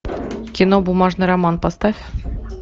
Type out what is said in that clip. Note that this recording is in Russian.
кино бумажный роман поставь